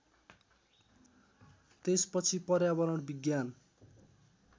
त्यसपछि पर्यावरण विज्ञान